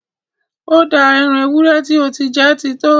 Ó dáa! Ẹ́ran èwúrẹ ti o ti jẹ́ ti to!